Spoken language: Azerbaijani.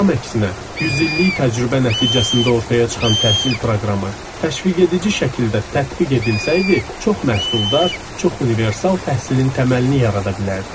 Tam əksinə, 100 illik təcrübə nəticəsində ortaya çıxan təhsil proqramı təşviq edici şəkildə tətbiq edilsəydi, çox məhsuldar, çox universal təhsilin təməlini yarada bilərdi.